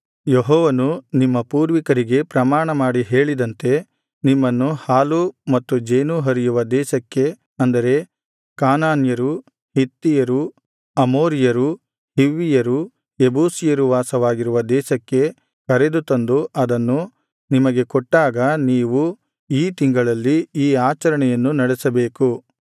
ಯೆಹೋವನು ನಿಮ್ಮ ಪೂರ್ವಿಕರಿಗೆ ಪ್ರಮಾಣಮಾಡಿ ಹೇಳಿದಂತೆ ನಿಮ್ಮನ್ನು ಹಾಲೂ ಮತ್ತು ಜೇನೂ ಹರಿಯುವ ದೇಶಕ್ಕೆ ಅಂದರೆ ಕಾನಾನ್ಯರು ಹಿತ್ತಿಯರು ಅಮೋರಿಯರು ಹಿವ್ವಿಯರು ಯೆಬೂಸಿಯರು ವಾಸವಾಗಿರುವ ದೇಶಕ್ಕೆ ಕರೆದು ತಂದು ಅದನ್ನು ನಿಮಗೆ ಕೊಟ್ಟಾಗ ನೀವು ಈ ತಿಂಗಳಲ್ಲಿ ಈ ಆಚರಣೆಯನ್ನು ನಡೆಸಬೇಕು